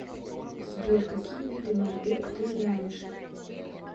сбер какие виды мальбек ты знаешь